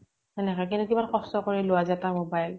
সেনেকে কিন্তু কিমান কষ্ট কৰি লোৱা যায় এটা mobile